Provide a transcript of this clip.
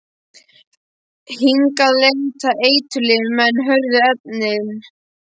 Hingað leiða eiturlyfin menn, hörðu efnin.